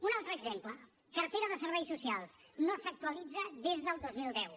un altre exemple cartera de serveis socials no s’actualitza des del dos mil deu